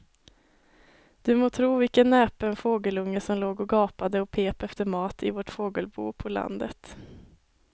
Du må tro vilken näpen fågelunge som låg och gapade och pep efter mat i vårt fågelbo på landet.